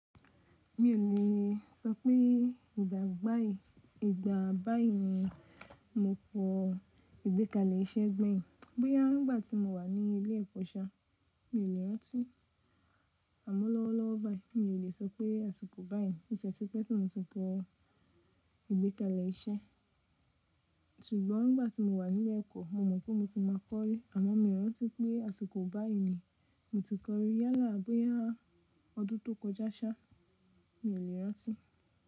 Mi ò le sọ pé ìgbà báyìí, ìgbà báyìí ni mo pọ̀ ìgbékalẹ̀ iṣẹ́ gbẹ̀yìn. Bóyá nígbà tí mo wà ní ilé ẹ̀kọ́ ṣá, mi ò lè rántí. Àmọ́ lọ́wọ́lọ́wọ́ báyìí mi ò le sọ pé àsìkò báyìí oti ẹ́tí pé tí mo ti kọ̀ ìgbékalẹ̀ iṣẹ́. Sugbón nígbà tí mo wà ní ilé ẹ̀kọ́ mo mọ̀ pé mo ti máa kọ́rí àmọ́ mi ò rántí pé àsìkò báyìí ni mo ti kọ́rí. Yálà bóyá ọdún tó kọjá ṣá, mi ò lè rántí.